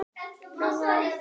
Áttundi kafli